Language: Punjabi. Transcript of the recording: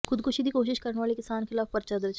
ਖੁਦਕੁਸ਼ੀ ਦੀ ਕੋਸ਼ਿਸ਼ ਕਰਨ ਵਾਲੇ ਕਿਸਾਨ ਖਿਲਾਫ਼ ਪਰਚਾ ਦਰਜ